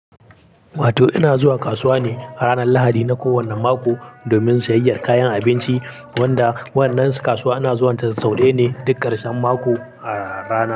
Wato ina zuwa kasuwa ne ranar Lahadi na kowane mako domin sayayyar kayan abinci, wanda wannan kasuwa ana zuwanta sau ɗayane duk ƙarshen mako a rana.